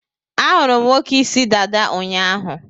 A hụrụ m nwoke ịsị dada ụnyaahụ